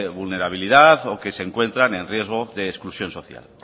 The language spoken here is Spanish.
vulnerabilidad o que se encuentran en riesgo de exclusión social